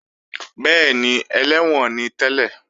Bẹ́ẹ̀ni, ẹlẹ́wọ̀n ni tẹ́lẹ̀